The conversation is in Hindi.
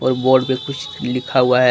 और बोर्ड पे कुछ लिखा हुआ है।